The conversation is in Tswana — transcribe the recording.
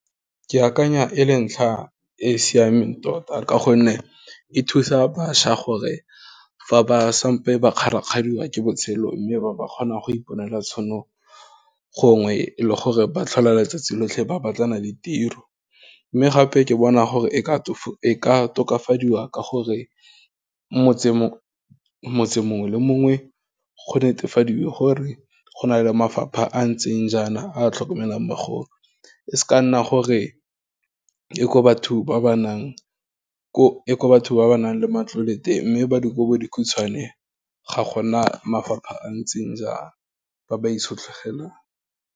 Ke akanya e le ntlha e siameng tota, ka gonne e thusa bašwa gore, fa ba sampe ba kgarakgadiwa ke botshelo, mme ba ba kgona go iponela tšhono, gongwe e le gore ba tlhola letsatsi lotlhe ba batlana le tiro, mme gape, ke bona gore e ka tokafadiwa ka gore, motse mongwe le mongwe go netefadiwe gore, go na le mafapha a ntseng jaana, a tlhokomelang bagolo, e se ka nna gore ke ko batho ba ba nang le ko matlole teng, mme ba dikobodikhutshwane, ga gona mafapha a ntseng jwana, ba ba itshetlegeleng.